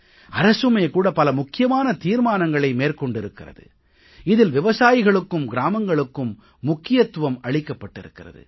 அரசுமே கூட பல முக்கியமான தீர்மானங்களை மேற்கொண்டிருக்கிறது இதில் விவசாயிகளுக்கும் கிராமங்களுக்கும் முக்கியத்துவம் அளிக்கப்பட்டிருக்கிறது